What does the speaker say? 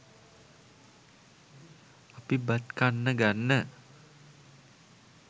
අපි බත් කන්න ගන්න